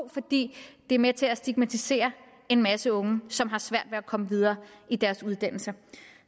fordi det er med til at stigmatisere en masse unge som har svært at komme videre i deres uddannelse